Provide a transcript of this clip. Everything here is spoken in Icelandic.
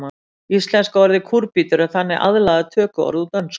Íslenska orðið kúrbítur er þannig aðlagað tökuorð úr dönsku.